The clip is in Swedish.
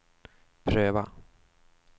pröva